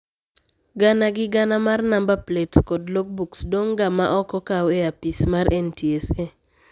Gana gi gana mar namba plets kod logbooks dong' ga ma ok okaw e apisi mag NTSA